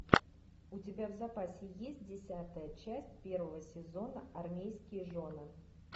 у тебя в запасе есть десятая часть первого сезона армейские жены